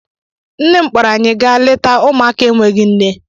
Nne m kpọrọ anyị gaa lete ụmụaka enweghị nne.